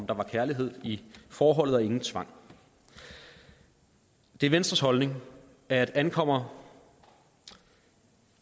der var kærlighed i forholdet og ingen tvang det er venstres holdning at ankommer